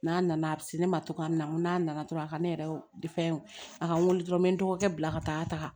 N'a nana a bɛ se ne ma cogoya min na n'a nana dɔrɔn a ka ne yɛrɛ de fɛn a ka n weele dɔrɔn n bɛ n dɔgɔkɛ bila ka taa taga